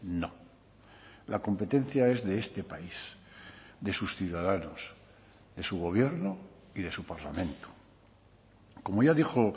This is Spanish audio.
no la competencia es de este país de sus ciudadanos de su gobierno y de su parlamento como ya dijo